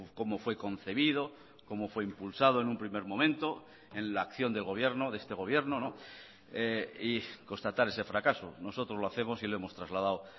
cómo fue concebido cómo fue impulsado en un primer momento en la acción del gobierno de este gobierno y constatar ese fracaso nosotros lo hacemos y lo hemos trasladado